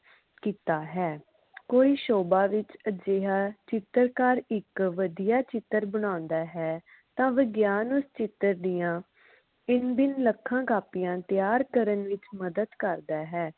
ਕੀਤਾ ਹੈ ਕੋਈ ਸ਼ੋਭਾ ਵਿਚ ਅਜਿਹਾ ਚਿੱਤਰਕਾਰ ਇਕ ਵਧੀਆ ਚਿੱਤਰ ਬਣਾਉਣਦਾ ਹੈ ਤਾ ਵਿਗਿਆਨ ਉਸ ਚਿੱਤਰ ਦੀਆ ਭਿੰਨ ਭਿੰਨ ਲੱਖਾਂ ਕਾਪੀਆਂ ਤਿਆਰ ਕਰਨ ਵਿਚ ਮਦਦ ਕਰਦਾ ਹੈ